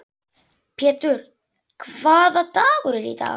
Pjetur, hvaða dagur er í dag?